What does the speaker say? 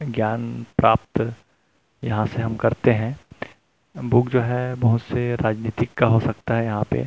ज्ञान प्राप्त यहाँ से हम करते है बुक जो है बहुत से राजनीतिक का हो सकता है यहाँ पे --